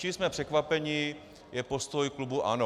Čím jsme překvapeni, je postoj klubu ANO.